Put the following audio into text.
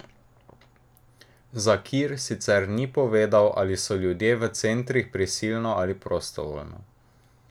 Zakir sicer ni povedal, ali so ljudje v centrih prisilno ali prostovoljno.